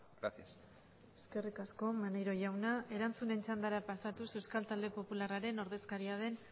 gracias eskerri asko maneiro jauna erantzunen txandara pasatuz euskal taldeen popularraren ordezkariaren